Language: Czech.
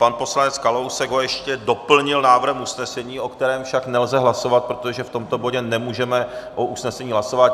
Pan poslanec Kalousek ho ještě doplnil návrhem usnesení, o kterém však nelze hlasovat, protože v tomto bodě nemůžeme o usnesení hlasovat.